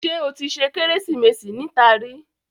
Ṣé o tí ṣe Kérésìmesì níta rí?